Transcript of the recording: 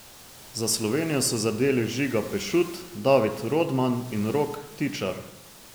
Za Slovenijo so zadeli Žiga Pešut, David Rodman in Rok Tičar.